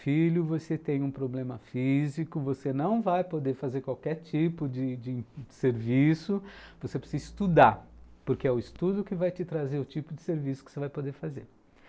Filho, você tem um problema físico, você não vai poder fazer qualquer tipo de de de serviço, você precisa estudar, porque é o estudo que vai te trazer o tipo de serviço que você vai poder fazer.